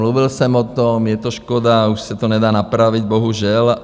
Mluvil jsem o tom, je to škoda, už se to nedá napravit, bohužel.